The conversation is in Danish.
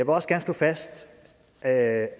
også gerne slå fast at